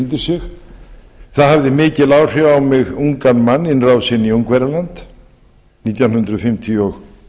undir sig það hafði mikil áhrif á mig ungan mann innrásin í ungverjaland nítján hundruð fimmtíu og